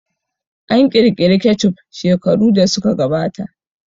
An ƙirƙiri kecup shekaru da suka gabata